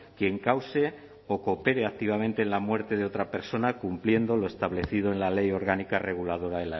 quien cause o coopere activamente en la muerte de otra persona cumpliendo lo establecido en la ley orgánica reguladora